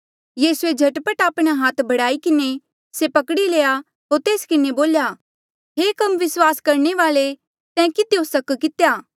यीसूए झट पट आपणा हाथ बढ़ाई किन्हें से पकड़ी लया होर तेस किन्हें बोल्या हे कम विस्वास करणे वाल्ऐ तैं किधियो सक कितेया